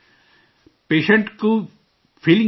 Patient کو کیا feeling آتا ہے؟